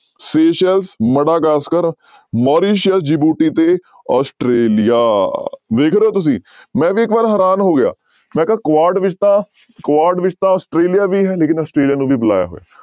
Madagascar ਮੋਰੀਸੀਆ, Djibouti ਤੇ Australia ਵੇਖ ਰਹੇ ਹੋ ਤੁਸੀਂ ਮੈਂ ਵੀ ਇੱਕ ਵਾਰ ਹੈਰਾਨ ਹੋ ਗਿਆ, ਮੈਂ ਕਿਹਾ ਕੁਆਡ ਵਿੱਚ ਤਾਂ ਕੁਆਡ ਵਿੱਚ ਤਾਂ ਆਸਟ੍ਰੇਲੀਆ ਵੀ ਹੈ ਲੇਕਿੰਨ ਆਸਟ੍ਰੇਲੀਆ ਨੂੰ ਵੀ ਬੁਲਾਇਆ ਹੋਇਆ।